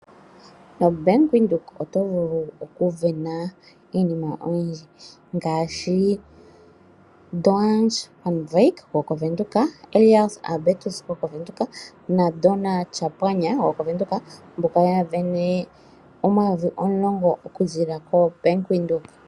Obank Windhoek otovulu okuvena iinima oyindji ngaashi Danouche Van Wyk go kovenduka, Elias Albertus go kovenduka, Bona Chapwanya go kovenduka mboka yavene omayovi omulonga okuziilila ko Bank Windhoek.